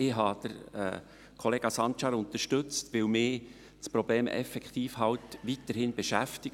Ich habe Grossrat Sancar unterstützt, weil mich das Problem weiterhin beschäftigt;